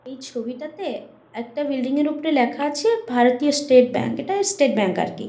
এই ছবিটাতে একটা বিল্ডিঙের লেখা আছে ভারতীয় স্টেট ব্যাংক । এইটা স্টেট ব্যাংক আরকি।